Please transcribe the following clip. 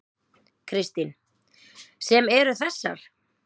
Kristín: Sem eru þessar?